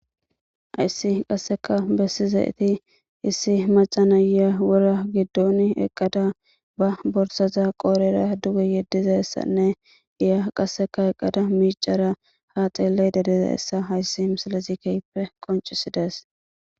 Haysi qaseka besizayti Isi macashiya wora gidon qada ba borsaza qodheta duge yedizaysane izan haa xelashe dizayssa ha misilezi kehidi besides